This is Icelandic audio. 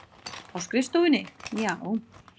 Á skrifstofunni, já.